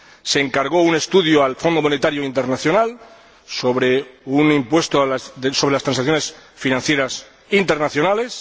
Se encargó un estudio al Fondo Monetario Internacional sobre un impuesto sobre las transacciones financieras internacionales.